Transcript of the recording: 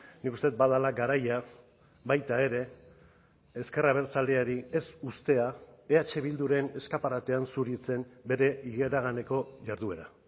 nik uste dut badela garaia baita ere ezker abertzaleari ez uztea eh bilduren eskaparatean zuritzen bere iraganeko jarduera